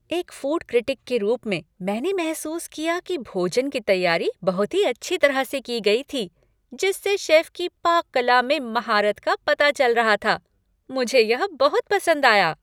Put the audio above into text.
एक food critic के रूप में, मैंने महसूस किया कि भोजन की तैयारी बहुत ही अच्छी तरह से की गई थी, जिससे शेफ की पाक कला में महारत का पता चल रहा था। मुझे यह बहुत पसंद आया।